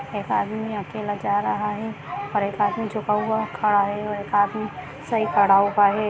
एक आदमी अकेला जा रहा है और एक आदमी झुका हुआ खड़ा है एक आदमी सही खड़ा हुआ है।